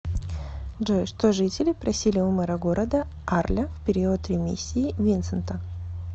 джой что жители просили у мэра города арля в период ремиссии винсента